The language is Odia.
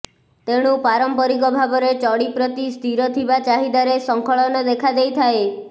ତେଣୁ ପାରମ୍ପରିକ ଭାବରେ ଚଡ଼ି ପ୍ରତି ସ୍ଥିର ଥିବା ଚାହିଦାରେ ସ୍ଖଳନ ଦେଖା ଦେଇଥାଏ